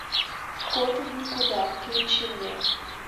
вход в никуда включи мне